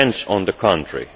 It depends on the country.